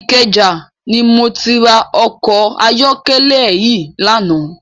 Ikeja ni mó ti rá òkò àyòkèlè yi làná